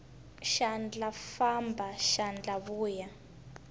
xandla famba xandla vuya